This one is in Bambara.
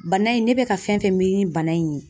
Bana in ne be ka fɛn fɛn miiri ni bana in ye.